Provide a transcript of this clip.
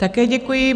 Také děkuji.